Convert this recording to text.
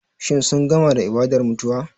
Shin sun gama da ibadar mutuwa?